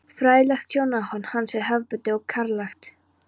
Fræðilegt sjónarhorn hans er hefðbundið og karllægt.